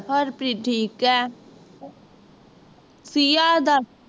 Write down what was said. ਹਰਪ੍ਰੀਤ ਠੀਕ ਹੈ, ਪ੍ਰਿਯਾ ਦਾ